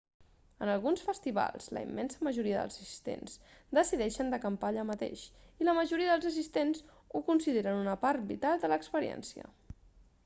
en alguns festivals la immensa majoria dels assistents decideixen d'acampar allà mateix i la majoria dels assistents ho consideren una part vital de l'experiència